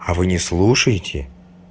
а вы не слушаете